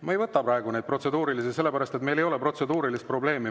Ma ei võta praegu protseduurilisi, sest meil ei ole protseduurilist probleemi.